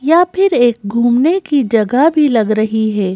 या फिर एक घूमने की जगह भी लग रही है।